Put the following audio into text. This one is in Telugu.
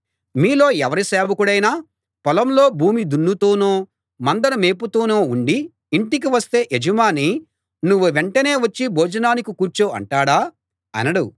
మీలో ఎవరి సేవకుడైనా పొలంలో భూమి దున్నుతూనో మందను మేపుతూనో ఉండి ఇంటికి వస్తే యజమాని నువ్వు వెంటనే వచ్చి భోజనానికి కూర్చో అంటాడా అనడు